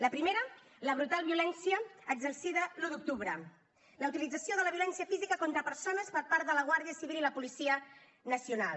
la primera la brutal violència exercida l’un d’octubre la utilització de la violència física contra persones per part de la guàrdia civil i la policia nacional